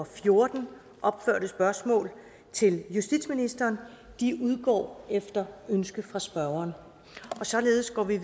fjorten opførte spørgsmål til justitsministeren udgår efter ønske fra spørgeren således går vi